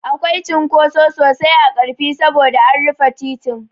Akwai cunkoso sosai a Ƙarfi saboda an rufe titin.